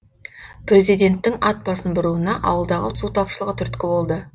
президенттің ат басын бұруына ауылдағы су тапшылығы түрткі болды